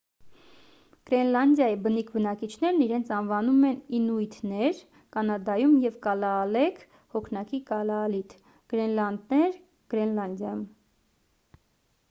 գրենլանդիայի բնիկ բնակիչներն իրենց անվանում են ինուիթներ կանադայում և կալաալեք հոգնակի՝ կալաալիթ գրենլանդեր՝ գրենլանդիայում: